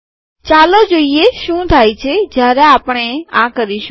ચાલો જોઈએ શું થાય છે જ્યારે આપણે આ કરીશું